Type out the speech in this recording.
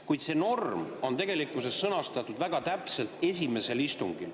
Kuid see norm on tegelikkuses sõnastatud väga täpselt: esimesel istungil.